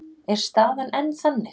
Er staðan enn þannig?